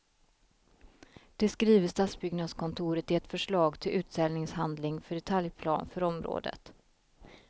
Det skriver stadsbyggnadskontoret i ett förslag till utställningshandling för detaljplan för området.